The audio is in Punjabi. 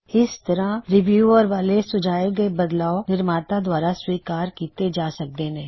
ਇਸ ਤਰਹ ਰੀਵਿਊਅਰ ਵੱਲੋ ਸੁਝਾਏ ਗਏ ਬਦਲਾਵ ਨਿਰਮਾਤਾ ਦੁਆਰਾ ਸਵੀਕਾਰ ਕੀੱਤੇ ਜਾ ਸਕਦੇ ਨੇ